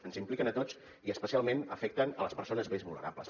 ens impliquen a tots i especialment afecten les persones més vulnerables